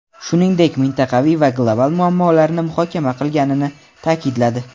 shuningdek mintaqaviy va global muammolarni muhokama qilganini ta’kidladi.